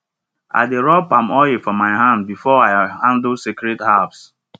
i dey rub palm oil for my hand before i handle sacred herbs